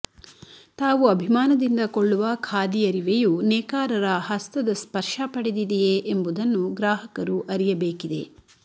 ತಾವು ಅಭಿಮಾನದಿಂದ ಕೊಳ್ಳುವ ಖಾದಿ ಅರಿವೆಯು ನೇಕಾರರ ಹಸ್ತದ ಸ್ಪರ್ಶ ಪಡೆದಿದೆಯೇ ಎಂಬುದನ್ನು ಗ್ರಾಹಕರು ಅರಿಯಬೇಕಿದೆ